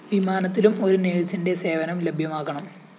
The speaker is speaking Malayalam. വിമാനത്തിലും ഒരുനേഴ്‌സിന്റെ സേവനം ലഭ്യമാക്കണം